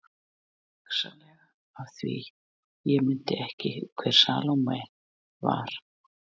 Hugsanlega af því ég mundi ekki hver Salóme var.